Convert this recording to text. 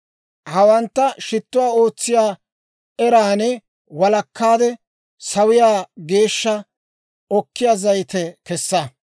Hawantta shittuwaa ootsiyaa eran walakkaade, sawiyaa geeshsha okkiyaa zayite kessa.